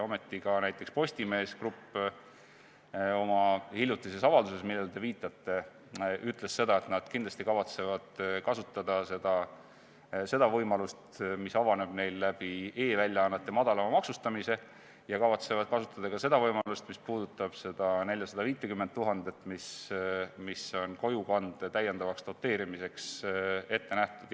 Ometi näiteks ka Postimees Grupp oma hiljutises avalduses, millele te viitasite, ütles, et nad kindlasti kavatsevad kasutada seda võimalust, mis avaneb neil e-väljaannete madalama maksustamise kaudu, ja nad kavatsevad kasutada ka seda võimalust, mis puudutab seda 450 000 eurot, mis on kojukande täiendavaks doteerimiseks ette nähtud.